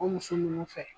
O muso ninnu fɛ